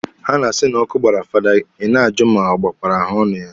Ha na-asi na ọkụ gbara fada, Ị na-ajụ ma ọ gbakwara ahaọnụ ya.